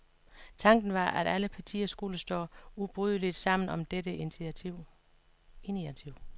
Tanken var, at alle partier skulle stå ubrydeligt sammen om dette initiativ.